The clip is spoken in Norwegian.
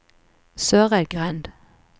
Søreidgrend